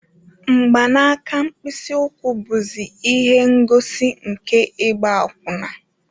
Mgbanaka mkpịsị ụkwụ bụzi ihe ngosi nke ịgba akwụna